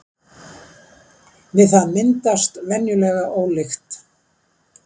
við það myndast venjulega ólykt